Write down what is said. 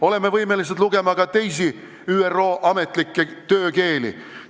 Oleme võimelised lugema tekste ka teistes ÜRO ametlikes töökeeltes.